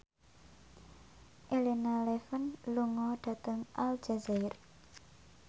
Elena Levon lunga dhateng Aljazair